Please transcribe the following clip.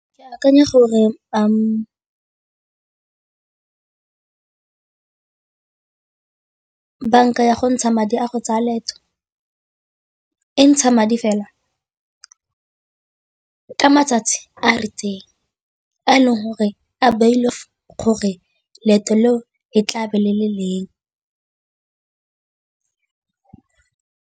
Ke akanya gore a banka ya go ntsha madi a go tsaya leeto e ntsha madi fela ka matsatsi a e leng gore a ba ile gore leeto leo e tlabe le le leng.